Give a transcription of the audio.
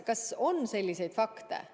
Kas on selliseid fakte?